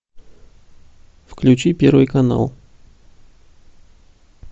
включи первый канал